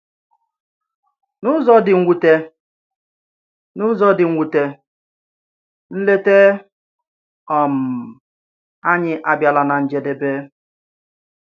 N’ụzọ dị mwute, N’ụzọ dị mwute, nleta um anyị abìalà ná njedebe.